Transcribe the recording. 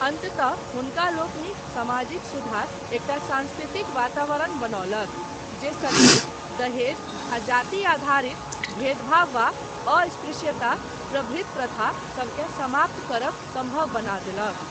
अन्ततः हुनकालोकनिक सामाजिक सुधार एकटा सांस्कृतिक वातावरण बनौलक, जे सती, दहेज आ जाति आधारित भेदभाव वा अस्पृश्यता प्रभृत प्रथा सबकेँ समाप्त करब सम्भव बना देलक।